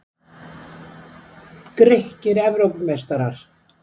Grikkir Evrópumeistarar!?